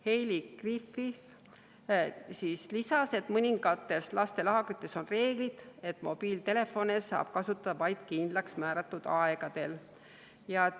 Heili Griffith lisas, et mõningates lastelaagrites on reeglid, et mobiiltelefone saab kasutada vaid kindlaksmääratud aegadel.